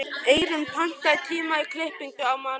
Eyrún, pantaðu tíma í klippingu á mánudaginn.